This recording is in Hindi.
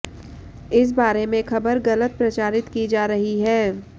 इस बारे में खबर ग़लत प्रचारित की जा रही है